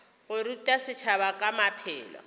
go ruta setšhaba ka maphelo